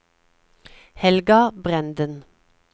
Helga Brenden